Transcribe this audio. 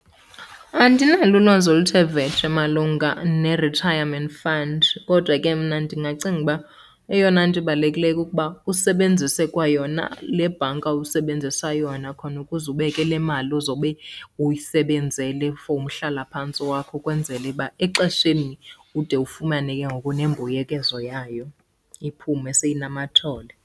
Andinalo ulwazi oluthe vetshe malunga ne-retirement fund, kodwa ke mna ndingacinga uba eyona nto ibalulekileyo kukuba usebenzise kwayona le bhanka usebenzisa yona khona ukuze ubeke le mali uzobe uyisebenzele for umhlalaphantsi wakho. Ukwenzela uba exesheni ude ufumane ke ngoku nembuyekezo yayo, iphume seyinamathole.